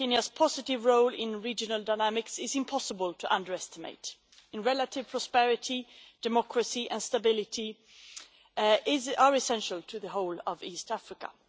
Kenya's positive role in regional dynamics is impossible to underestimate, and relative prosperity, democracy and stability are essential to the whole of East Africa.